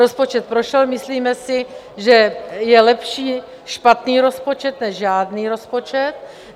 Rozpočet prošel, myslíme si, že je lepší špatný rozpočet než žádný rozpočet.